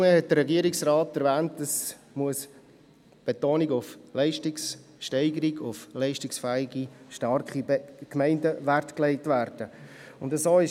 Vielmehr hat der Regierungsrat erwähnt, dass auf die Leistungssteigerung und auf leistungsfähige, starke Gemeinden Wert gelegt werden muss.